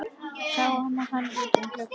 Sáum hann út um glugga.